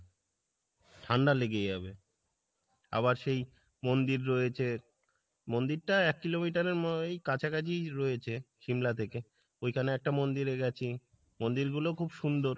ঠাণ্ডা লেগে যাবে আবার সেই মন্দির রয়েছে মন্দির টা actually ওই কাছাকাছি রয়েছে সিমলা থেকে ওইখানে একটা মন্দির আছে মন্দির গুলো খুব সুন্দর